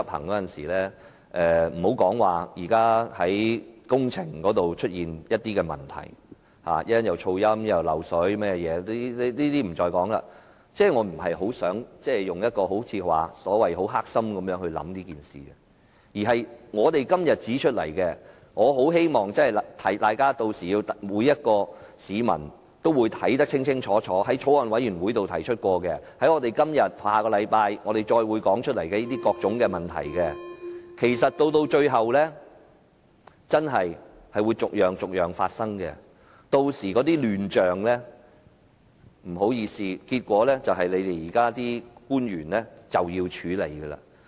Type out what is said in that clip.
且不說現時工程上已經出現的問題，包括噪音、滲水等，我不想以所謂很"黑心"的態度對待此事，我只希望提醒大家，每位市民均會看得十分清楚，我們在法案委員會曾提出的問題，以及我們今天和下星期繼續提出的各項問題，其實最後真的會逐一發生，屆時的亂象，不好意思，結果須由現時的官員處理。